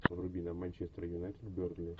вруби нам манчестер юнайтед бернли